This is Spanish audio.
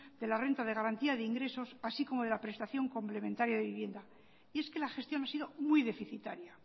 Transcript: de las rentas de garantía de ingresos así como de la prestación complementaria de vivienda y es que la gestión ha sido muy deficitaria